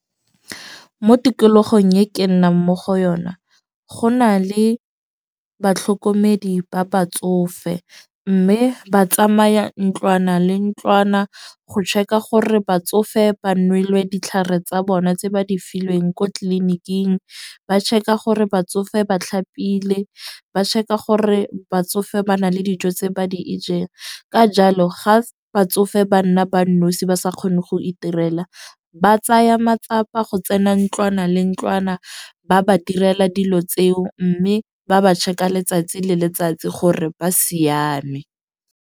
Mo tikologong e ke nnang mo go yona, go na le batlhokomedi ba batsofe. Mme ba tsamaya ntlwana le ntlwana go check-a gore batsofe ba nelwe ditlhare tsa bona tse ba di filweng ko tleliniking. Ba check-a gore batsofe ba tlhapile, ba check-a gore batsofe ba na le dijo tse ba di e ja. Ka jalo ga batsofe ba nna ba nosi ba sa kgone go iterela, ba tsaya matsapa go tsena ntlwana le ntlwana ba ba direla dilo tseo. Mme ba ba check-a letsatsi le letsatsi gore ba siame.